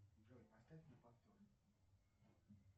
джой поставь на повтор